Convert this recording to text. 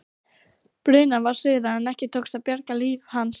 Brunað var suður en ekki tókst að bjarga lífi hans.